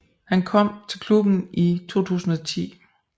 Han kom til klubben i 2010